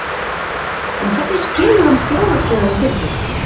En hvernig skilur hann fjárhagslega við fyrirtækið?